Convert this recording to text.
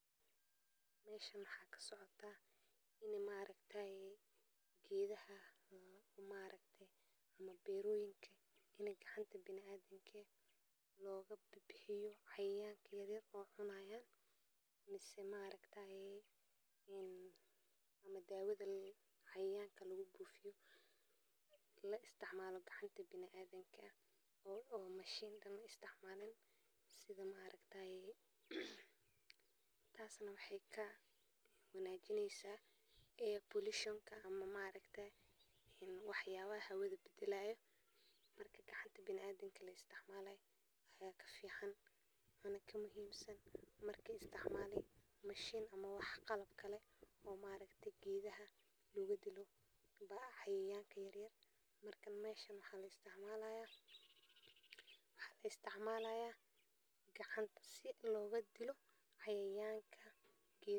Meshan maxaa ka socdaa, ini maaragtaay idaha waxay u baahan yihiin biyo nadiif ah oo ay cabban karaan maalin walba si ay u sii wadaan noloshooda oo ay u ilaaliyaan caafimaadkooda, sidaas darteed waa in ay helaan ilo biyo oo ay ku cabbi karaan marka ay u baahan yihiin, gaar ahaan marka aydu jiraan xilli kulul ama marka ay cuntadu ay aad u qalantay, sababtoo ah cabidkii biyaha wuxuu ka caawiyaa idaha in ay isku dhiiraan oo ay si fiican u soo dhaqaan qaadista cuntada, waxaana muhiim ah in biyuhu ay ahaadaan kuwo nadiif ah oo aan laga yaabin in ay keenaan cudurrada.